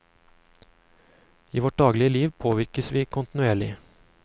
I vårt daglige liv påvirkes vi kontinuerlig.